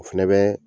O fɛnɛ bɛ